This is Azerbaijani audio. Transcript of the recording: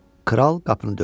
Kral qapını döydü.